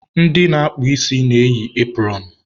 Ndị na-akpụ isi na-eyi epụrọnụ.